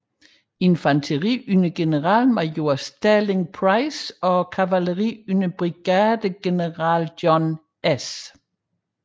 Infanteri under generalmajor Sterling Price og kavaleri under brigadegeneral John S